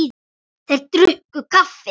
Þeir drukku kaffið.